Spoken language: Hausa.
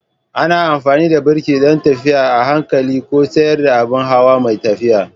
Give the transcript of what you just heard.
Ana amfani da birki don tafiya a hankali ko tsayar da abin hawa mai tafiya.